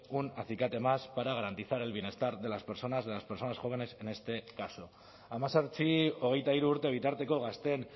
un acicate más para garantizar el bienestar de las personas de las personas jóvenes en este caso hemezortzi hogeita hiru urte bitarteko gazteen